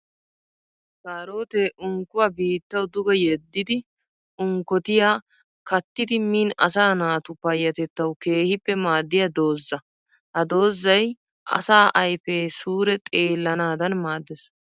Karootte unkkuwa biittawu duge yediddi unkkottiya kattiddi min asaa naatu payatettawu keehippe maadiya doozza. Ha doozzay asaa ayfe suure xeelanaddan maades.